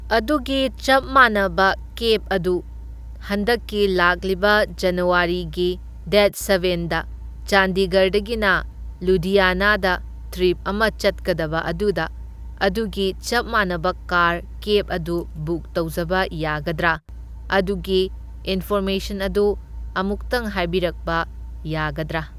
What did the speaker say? ꯑꯗꯨꯒꯤ ꯆꯞ ꯃꯥꯟꯅꯕ ꯀꯦꯕ ꯑꯗꯨ ꯍꯟꯗꯛꯀꯤ ꯂꯥꯛꯂꯤꯕ ꯖꯅꯋꯥꯔꯤꯒꯤ ꯗꯦꯠ ꯁꯕꯦꯟꯗ ꯆꯥꯟꯗꯤꯒꯔꯗꯒꯤꯅ ꯂꯨꯙꯤꯌꯥꯅꯥꯗ ꯇ꯭ꯔꯤꯞ ꯑꯃ ꯆꯠꯀꯗꯕ ꯑꯗꯨꯗ ꯑꯗꯨꯒꯤ ꯆꯞ ꯃꯥꯟꯅꯕ ꯀꯥꯔ ꯀꯦꯕ ꯑꯗꯨ ꯕꯨꯛ ꯇꯧꯖꯕ ꯌꯥꯒꯗ꯭ꯔꯥ? ꯑꯗꯨꯒꯤ ꯏꯟꯐꯣꯔꯃꯦꯁꯟ ꯑꯗꯨ ꯑꯃꯨꯛꯇꯪ ꯍꯥꯏꯕꯤꯔꯛꯄ ꯌꯥꯒꯗ꯭ꯔꯥ?